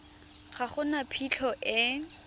ga go na phitlho e